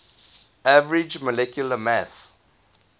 average molecular mass